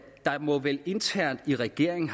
der vel internt i regeringen